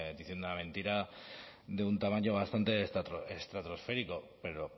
diciendo la mentira de un tamaño bastante estratosférico pero